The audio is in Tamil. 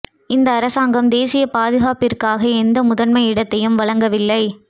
இந்த அரசாங்கம் தேசிய பாதுகாப்பிற்காக எந்த முதன்மை இடத்தையும் வழங்கவில்லை